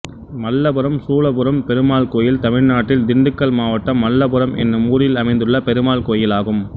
மல்லபுரம் சூலப்புரம் பெருமாள் கோயில் தமிழ்நாட்டில் திண்டுக்கல் மாவட்டம் மல்லபுரம் என்னும் ஊரில் அமைந்துள்ள பெருமாள் கோயிலாகும்